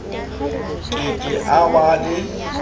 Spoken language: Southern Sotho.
ke ke a ba le